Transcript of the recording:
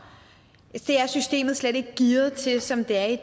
så er er systemet slet ikke gearet til det som det er i